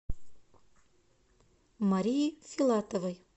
марии филатовой